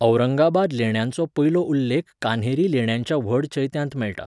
औरंगाबाद लेण्यांचो पयलो उल्लेख कान्हेरी लेण्यांच्या व्हड चैत्यांत मेळटा.